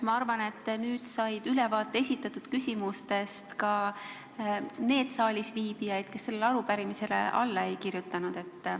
Ma arvan, et nüüd said esitatud küsimustest ülevaate ka need saalisviibijad, kes sellele arupärimisele alla ei kirjutanud.